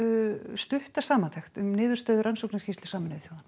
stutta samantekt um niðurstöðu rannsóknarskýrslunnar